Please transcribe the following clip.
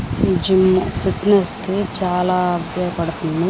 ఈ gym fitness కి చాలా ఉపయోగపడుతుంది.